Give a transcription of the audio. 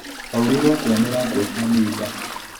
Aurĩiruo akĩanũra nguo cia nĩimba.